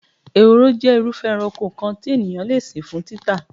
Ehoro jé̩ irúfé̩̣ eranko kan tí ènìyàn le sìn fún títà.